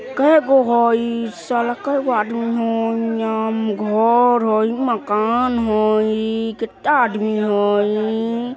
केगो हैय घर हैय मकान हैय किट्टा आदमी हैय ईईई।